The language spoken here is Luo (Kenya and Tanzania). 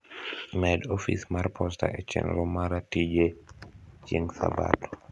med ofis mar posta e chenro mara tije chieng sabato